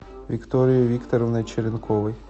викторией викторовной черенковой